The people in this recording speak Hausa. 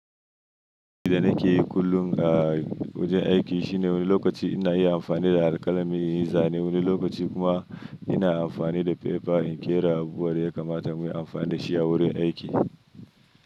Abun da nake yi kullum a wajen aiki shine wani lokaci ina yi amfani da alƙalami zanen wani lokaci kuma ina amfani da pepa in ƙera abu wan da ya kamata mun yi amfani da shi a wurin aiki.